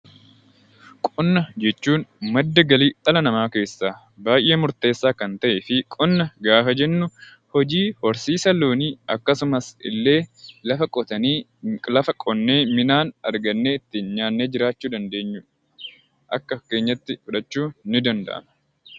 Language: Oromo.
Qonna jechuun madda galii dhala namaa keessaa baayyee murteessaa kan ta'ee fi qonna gaafa jennu hojii horsiisa loonii akkasumas illee lafa qotnee midhaan argannee ittiin jiraachuu dandeenyu akka fakkeenyaatti fudhachuun ni danda'ama.